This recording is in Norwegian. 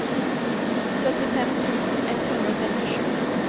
syttifem tusen ett hundre og trettisju